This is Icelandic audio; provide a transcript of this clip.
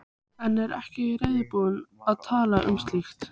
En er ekki reiðubúin að tala um slíkt.